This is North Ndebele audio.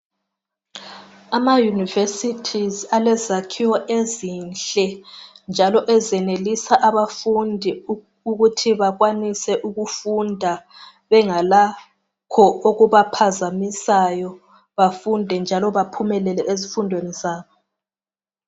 AmaYunivesi alezakhiwo ezinhle njalo ezenelisa abafundi ukuthi bakwanise ukufunda bengalakho okubaphazamisayo, bafunde njalo baphumelele ezifundweni zabo.